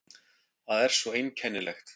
Það er svo einkennilegt.